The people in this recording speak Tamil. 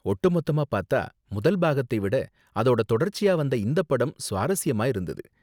ஒட்டு மொத்தமா பாத்தா, முதல் பாகத்தை விட அதோட தொடர்ச்சியா வந்த இந்த படம் சுவாரஸ்யமா இருந்தது.